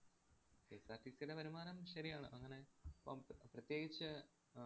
KSRTC യുടെ വരുമാനം ശരിയാണ്. അങ്ങനെ ഇപ്പം പ്ര~ പ്രത്യേകിച്ച് ആഹ്